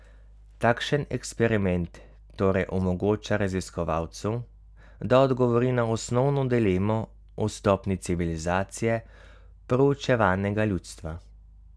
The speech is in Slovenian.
Takšen eksperiment torej omogoča raziskovalcu, da odgovori na osnovno dilemo o stopnji civilizacije proučevanega ljudstva.